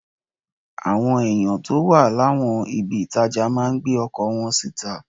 Àwọn èèyàn tó wà láwọn ibi ìtajà máa ń gbé ọkọ̀ wọn síta